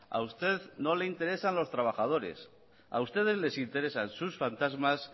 a usted no le interesan los trabajadores a ustedes les interesan sus fantasmas